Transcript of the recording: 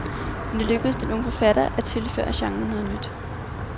Men det lykkedes den unge forfatter, at tilføre genren noget nyt.